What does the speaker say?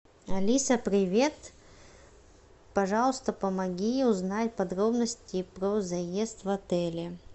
алиса привет пожалуйста помоги узнать подробности про заезд в отеле